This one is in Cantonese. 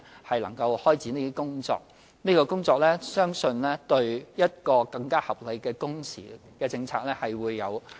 我們正開展這項工作，相信有助訂定一項更合理的工時政策。